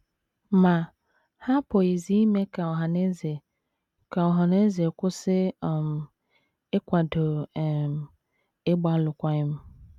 Ma, ha apụghịzi ime ka ọhaneze ka ọhaneze kwụsị um ịkwado um ịgba alụkwaghịm.